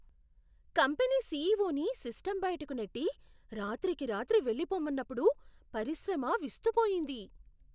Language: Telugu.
కంపెనీ సీఈవోని సిస్టం బయటకు నెట్టి, రాత్రికి రాత్రి వెళ్ళిపొమ్మన్నప్పుడు పరిశ్రమ విస్తుపోయింది.